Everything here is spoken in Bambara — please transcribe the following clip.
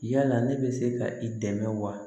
Yala ne bɛ se ka i dɛmɛ wa